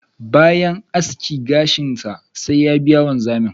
bayan aski gashin sa, sai ya biya wanzamin.